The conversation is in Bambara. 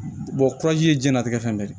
kurazi ye diɲɛnatigɛ fɛn bɛɛ de ye